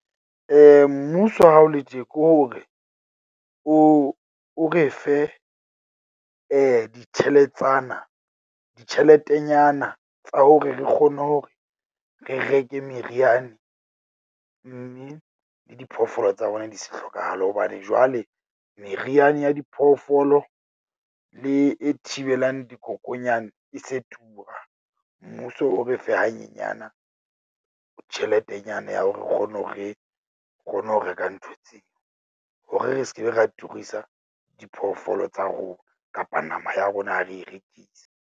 Mmuso ha o le tje ke hore o o re fe ditheletsana, ditjheletenyana tsa hore re kgone hore re reke meriana. Mme le diphoofolo tsa bona di se hlokahale hobane jwale meriana ya diphoofolo le e thibelang dikokonyane e se tura. Mmuso o re fe hanyenyana tjheletenyana ya hore re kgone hore re kgone ho reka ntho tseo. Hore re skebe, ra turisa diphoofolo tsa rona kapa nama ya rona ha re e rekisa.